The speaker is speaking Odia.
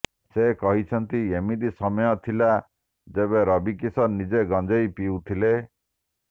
ସେ କହିଛନ୍ତି ଏମିତି ସମୟ ଥିଲା ଯେବେ ରବି କିଶନ ନିଜେ ଗଞ୍ଜେଇ ପିଉଥିଲେ